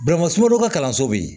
sunɔgɔ ka kalanso bɛ yen